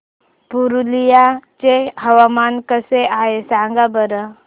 पुरुलिया चे हवामान कसे आहे सांगा बरं